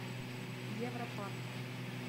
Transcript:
европарк